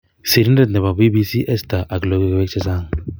Sirindet nebo BBC Ester ak logoiwek chechang